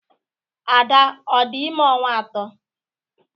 Ada à dị ime ọnwa atọ?